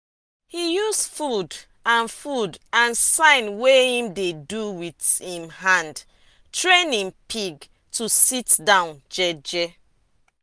he use food and food and sign wey em dey do with em hand train em pig to dey sit down jeje.